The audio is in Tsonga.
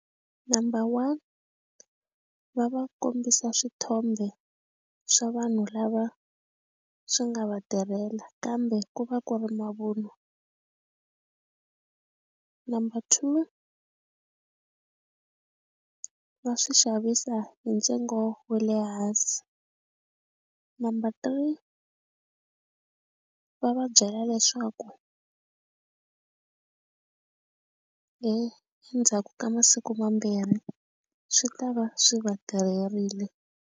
Number one va va kombisa swithombe swa vanhu lava swi nga va tirhela kambe ku va ku ri mavunwa number two va swi xavisa hi ntsengo wa le hansi number three va va byela leswaku endzhaku ka masiku mambirhi swi ta va swi va tirherile.